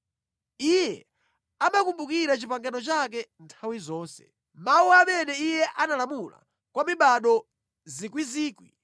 Iye amakumbukira pangano lake nthawi zonse, mawu amene Iye analamula, kwa mibado miyandamiyanda,